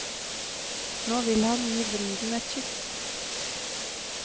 Nå vil han gi bruden et kyss.